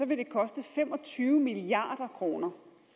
vil det koste fem og tyve milliard kroner